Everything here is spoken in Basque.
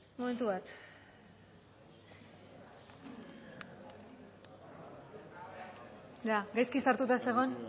momentu bat gaizki sartuta zegoen